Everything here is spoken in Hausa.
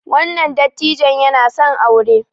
wannan dattijon yana son aure